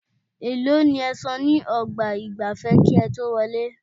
Èèló ni ẹ san ní ọgbà ìgbafẹ́ kí ẹ tó wọlé?